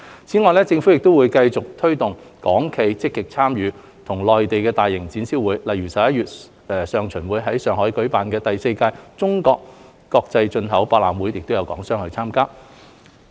此外，政府會繼續推動港企積極參與內地的大型展銷活動，例如11月上旬於上海舉辦的第四屆中國國際進口博覽會亦會有港商參加。